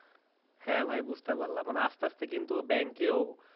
হ্যাঁ ভাই বুঝতে পারলাম আস্তে আস্তে কিন্তু bank এও